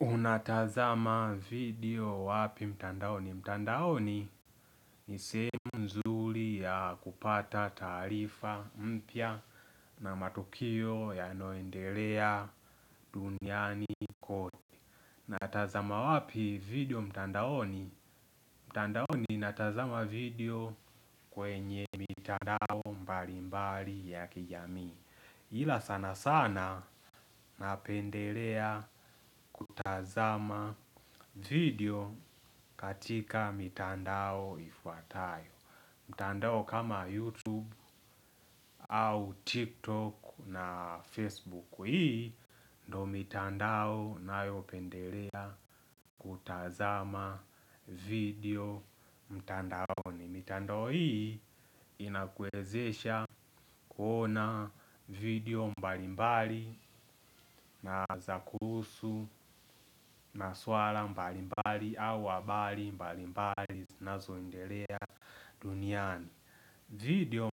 Unatazama video wapi mtandaoni mtandaoni ni semu mzuri ya kupata taarifa mpya na matukio ya noendelea duniani koto. Natazama wapi video mtandaoni mtandaoni natazama video kwenye mitandao mbali mbali ya kijamii hila sana sana napendelea kutazama video katika mitandao ifuatayo mitandao kama YouTube au TikTok na Facebook. Hii ndo mitandao nayo pendelea kutazama video mitandaoni. Mitando hii inakwezesha kuona video mbalimbali na zakusu maswala mbalimbali au habali mbalimbali zinazoendelea duniani. Video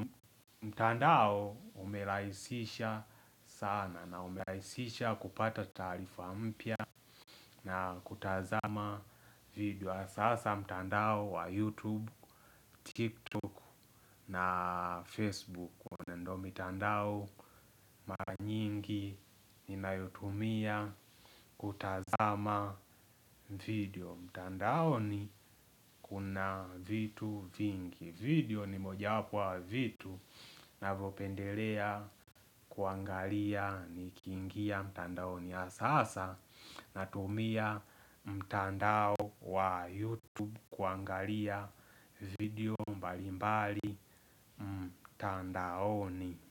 mtandao umelaisisha sana na umelaisisha kupata tarifa mpya na kutazama video sasa mtandao wa youtube, tiktok na facebook. Ndo mitandao maanyingi ni na yutumia kutazama video. Mitandao ni kuna vitu vingi. Video ni moja wapu wa vitu na vopendelea kuangalia ni kingia. Mitandao ni asasa na tumia mtandao wa yutu kuangalia video mbali mbali. Mtandao ni.